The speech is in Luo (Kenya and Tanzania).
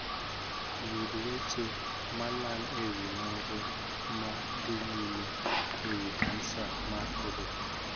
Yud weche malang' e wii nonro ma dhii nyime e wii kansa mar oboo.